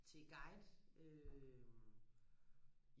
til guide øhm